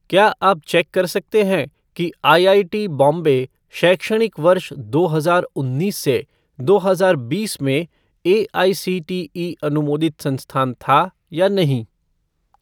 क्या आप चेक कर सकते हैं कि आईआईटी बॉम्बे शैक्षणिक वर्ष दो हजार उन्नीस से दो हजार बीस में एआईसीटीई अनुमोदित संस्थान था या नहीं?